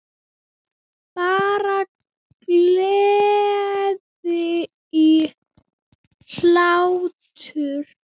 Bara gleði og hlátur.